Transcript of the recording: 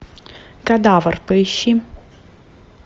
кадавр поищи